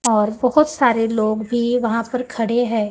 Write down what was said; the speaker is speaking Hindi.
और बहोत सारे लोग भी वहां पर खड़े हैं।